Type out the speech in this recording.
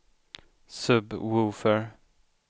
sub-woofer